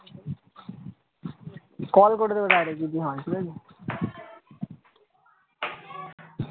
call করে নেবে direct যোদি হয়